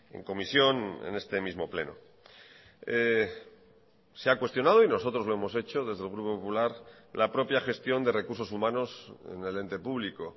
en comisión en este mismo pleno se ha cuestionado y nosotros lo hemos hecho desde el grupo popular la propia gestión de recursos humanos en el ente público